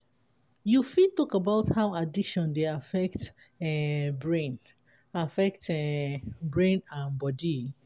you fit talk about how addiction dey affect um brain affect um brain and body?